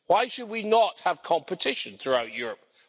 Why should we not have competition throughout Europe?